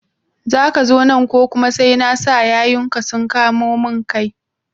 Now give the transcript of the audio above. Zaka zo nan ko kuma sai na sa yayunka sun kamo mun kai?